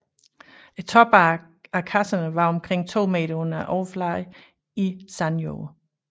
Toppen af kasserne var omkring to meter under overfladen i sandjord